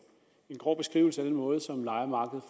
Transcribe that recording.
grov beskrivelse af den måde som lejermarkedet